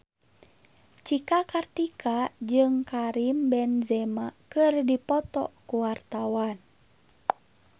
Cika Kartika jeung Karim Benzema keur dipoto ku wartawan